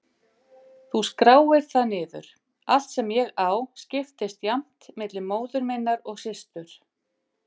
Þú skráir það niður- allt sem ég á skiptist jafnt milli móður minnar og systur